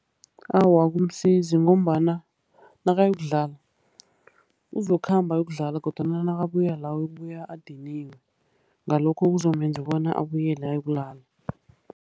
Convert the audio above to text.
Awa akumsizi. Ngombana nakayokudlala, uzokukhamba yokudlala kodwana nakabuya la, uyokubuya adiniwe. Ngalokho kuzomenza bona abuyele ayokulala.